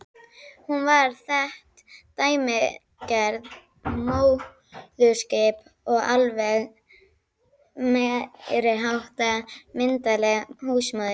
Hún var þetta dæmigerða móðurskip og alveg meiriháttar myndarleg húsmóðir.